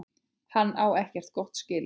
Hann á ekkert gott skilið.